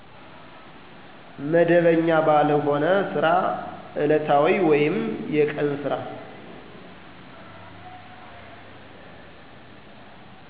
መደበኛ ባልሆነ ስራ እለታዊ ወይም የቀን ስራ